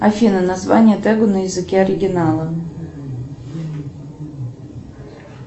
афина название тегу на языке оригинала